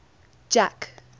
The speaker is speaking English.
jack